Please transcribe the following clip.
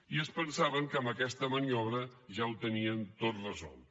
i es pensaven que amb aquesta maniobra ja ho tenien tot resolt